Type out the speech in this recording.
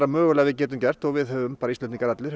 mögulega getum gert og við höfum bara Íslendingar allir